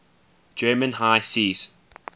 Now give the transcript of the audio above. german high seas